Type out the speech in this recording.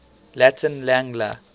latin lang la